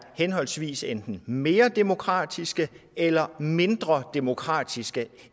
henholdsvis enten mere demokratiske eller mindre demokratiske